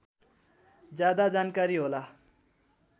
ज्यादा जानकारी होला